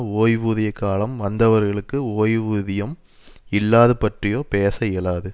ஓய்வூதிய காலம் வந்தவர்களுக்குக் ஓய்வூதியம் இல்லாது பற்றியோ பேச இயலாது